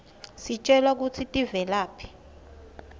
sitjelwa kutsi tivelaphi